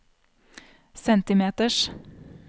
centimeters